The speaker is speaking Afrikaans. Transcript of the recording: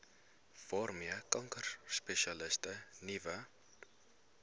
waarmee kankerspesialiste nuwe